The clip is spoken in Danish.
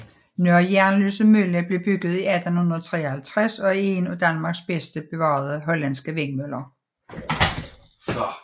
Nørre Jernløse Mølle blev bygget i 1853 og er en af Danmarks bedst bevarede hollandske vindmøller